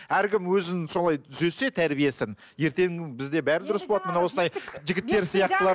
әркім өзін солай түзесе тәрбиесін ертеңгі күні бізде бәрі дұрыс болады мына осындай жігіттер сияқтылар